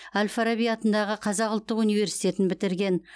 әл фараби атындағы қазақ ұлттық университетін бітірген